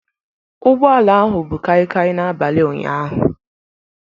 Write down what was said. Ụgbọ ala ahụ bu kaikai n'abalị ụnyaahụ